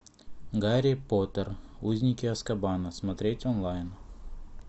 гарри поттер узники азкабана смотреть онлайн